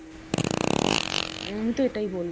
আমিতো এটাই বলবো।